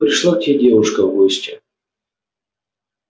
пришла к тебе девушка в гости